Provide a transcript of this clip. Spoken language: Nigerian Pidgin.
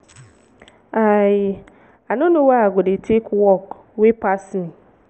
i i no know why i go dey take work wey pass me.